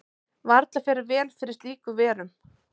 Varla fer vel fyrir slíkur verum.